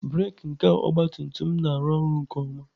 Breek nke ọgabtumtum m na-arụ ọrụ nke ọma.